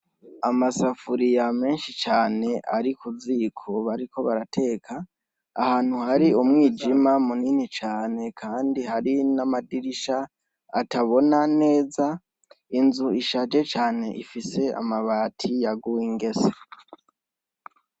Amasafuriya menshi cane ari ku ziko barateka, ahantu hari umwijima munini cane kandi hari n'amadirisha atabona neza, inzu ishaje cane ifise amabati yaguye ingese.